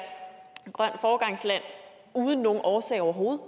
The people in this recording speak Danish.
grønt foregangsland uden nogen årsag overhovedet